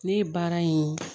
Ne ye baara in